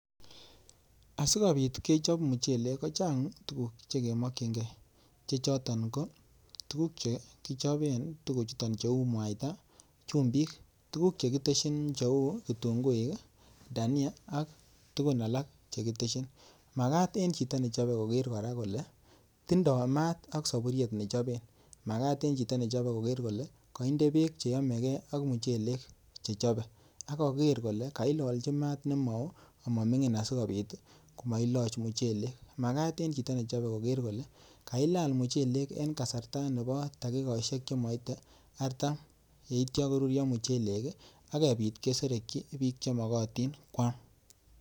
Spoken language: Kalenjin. asigopit kechop mchelek kechopen tugun cheuu mwaita chumbik ak alak chechak ak komagat kilalnji maat komnyee atatyem ngoruryo kesapani piik asigopit kwam akopiyoo eng chakchinet